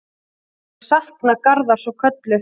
Ég sakna Garðars og Köllu.